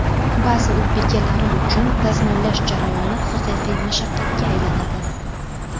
Ba’zi uy bekalari uchun dazmollash jarayoni haqiqiy mashaqqatga aylanadi.